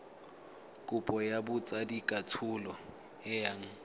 kopo ya botsadikatsholo e yang